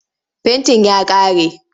Fentin ya ƙare.